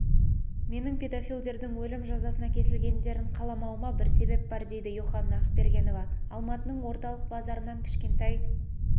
менің педофилдердің өлім жазасына кесілгендерін қаламауыма бір себеп бар деді йоханна ақбергенова алматының орталық базарынан кішкентай